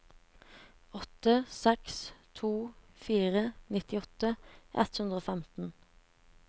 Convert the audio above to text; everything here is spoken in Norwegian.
åtte seks to fire nittiåtte ett hundre og femten